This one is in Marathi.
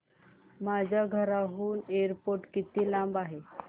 माझ्या घराहून एअरपोर्ट किती लांब आहे